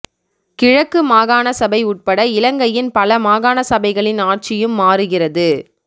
கிழக்கு மாகாண சபை உட்பட இலங்கையின் பல மாகாண சபைகளின் ஆட்சியும் மாறுகிறது